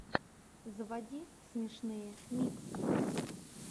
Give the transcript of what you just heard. заводи смешные миксы